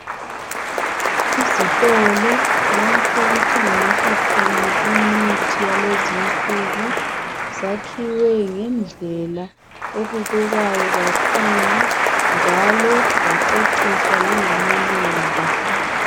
Izitolo lapho okuthengiswa khona imithi yalezinsuku zakhiwe ngendlela ebukekayo kakhulu njalo zaceciswa langamaluba.